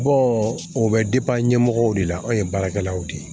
o bɛ ɲɛmɔgɔw de la anw ye baarakɛlaw de ye